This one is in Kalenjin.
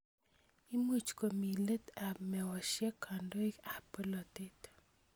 Imuch komi let ap meosyek kandoik ap polotet